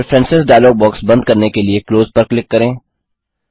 preferences dialog box बंद करने के लिए क्लोज पर क्लिक करें